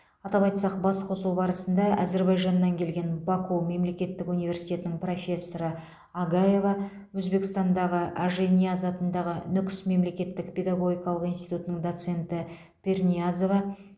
атап айтсақ бас қосу барысында әзербайжаннан келген баку мемлекеттік университетінің профессоры агаева өзбекстандағы ажинияз атындағы нүкіс мемлекеттік педагогикалық институтының доценті пирниязова